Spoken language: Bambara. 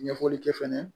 Ɲɛfɔli kɛ fɛnɛ